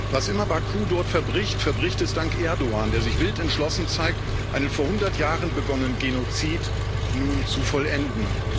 Was immer Baku dort verbricht, verbricht es dank Erdoğan, der sich wild entschlossen zeigt, einen vor 100 Jahren begonnenen Genozid nun zu vollenden.